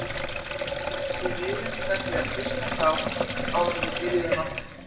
Við rifumst með því að hvíslast á áður en við byrjuðum aftur.